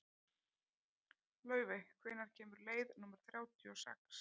Laufey, hvenær kemur leið númer þrjátíu og sex?